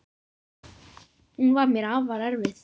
Hún var mér afar erfið.